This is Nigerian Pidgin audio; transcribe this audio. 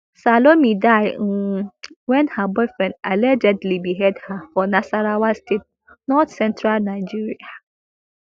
salome die um wen her boyfriend allegedly behead her for nasarawa state northcentral nigeria